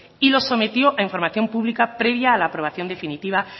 y lo sometió a información pública previa a la aprobación definitiva